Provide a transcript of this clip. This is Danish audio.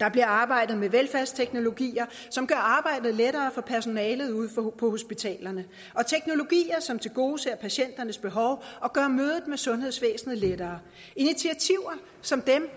der bliver arbejdet med velfærdsteknologier som gør arbejdet lettere for personalet ude på hospitalerne og teknologier som tilgodeser patienternes behov og gør mødet med sundhedsvæsenet lettere initiativer som dem